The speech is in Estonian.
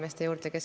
Aitäh!